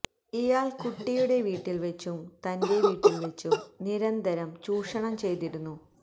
ഇയാള് കുട്ടിയുടെ വീട്ടില് വച്ചും തന്റെ വീട്ടില് വച്ചും നിരന്തരം ചൂഷണം ചെയ്തിരുന്നു